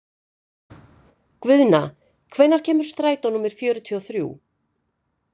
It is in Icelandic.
Guðna, hvenær kemur strætó númer fjörutíu og þrjú?